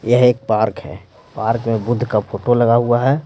यह एक पार्क है पार्क में बुद्ध का फोटो लगा हुआ है।